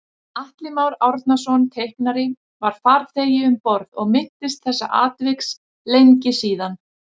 Atli Már Árnason teiknari var farþegi um borð og minntist þessa atviks lengi síðan